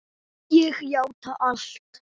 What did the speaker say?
Ég játa allt